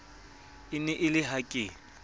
e ne e le hake